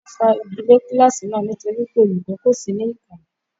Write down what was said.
Wọ́n fa igi lé kíláàsì náà nítorí pé olùkọ́ kò sí ní ìkàlẹ̀.